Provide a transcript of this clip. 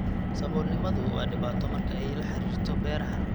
Saboolnimadu waa dhibaato marka ay la xiriirto beeraha.